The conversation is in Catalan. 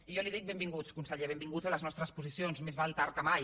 i jo li dic benvinguts conseller benvinguts a les nostres posicions més val tard que mai